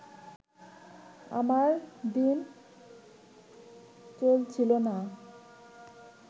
আমার দিন চলছিল না